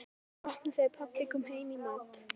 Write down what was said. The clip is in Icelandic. Neyddist til að opna þegar pabbi kom heim í mat.